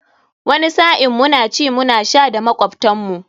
Wani sa'in muna ci muna sha da makwabtan mu.